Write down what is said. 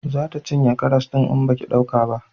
Za ta cinye karas din in baki dauke ba